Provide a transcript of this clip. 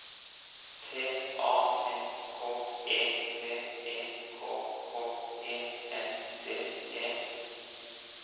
T A N K E V E K K E N D E